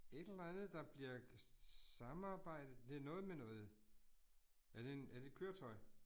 Et eller andet, der bliver samarbejdet. Det noget med noget, er det en, er det et køretøj?